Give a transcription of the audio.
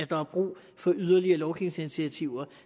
der er brug for yderligere lovgivningsinitiativer